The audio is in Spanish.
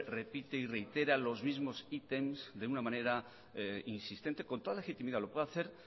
repite y reitera los mismos ítems de una manera insistente con toda la legitimidad lo puede hacer